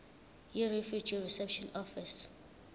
yirefugee reception office